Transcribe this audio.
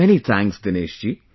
Many thanks Dinesh ji